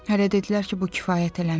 Hələ dedilər ki, bu kifayət eləmir.